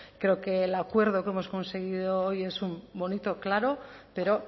creo que el acuerdo que hemos conseguido hoy es un bonito claro pero